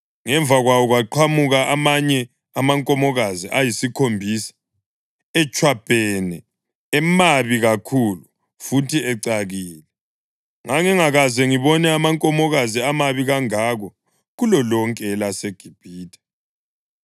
Ngemva kwawo kwaqhamuka amanye amankomokazi ayisikhombisa, etshwabhene, emabi kakhulu futhi ecakile. Ngangingakaze ngibone amankomokazi amabi kangako kulolonke elaseGibhithe.